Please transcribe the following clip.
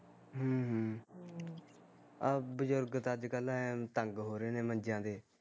ਹਮ ਹਮ ਹਮ ਬਜ਼ੁਰਗ ਤਾਂ ਅੱਜ ਕੱਲ ਐ ਤੰਗ ਹੋ ਰਹੇ ਨੇ ਮੰਜਿਆ ਤੇ